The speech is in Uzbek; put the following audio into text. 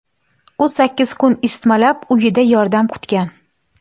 U sakkiz kun isitmalab, uyida yordam kutgan.